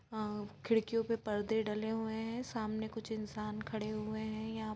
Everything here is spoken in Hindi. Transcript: अ खिड़कियों पर परदे डले हुए है सामने कुछ इंसान खड़े हुए है यहां---